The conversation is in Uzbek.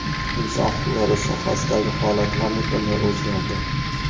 Inson huquqlari sohasidagi holat ham butunlay o‘zgardi.